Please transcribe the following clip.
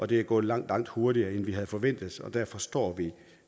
det er gået langt langt hurtigere end vi havde forventet og derfor står vi